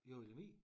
Jo i Lemvig?